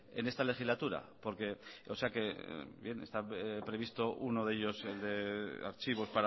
en esta legislatura porque o sea que bien está previsto uno de ellos de archivos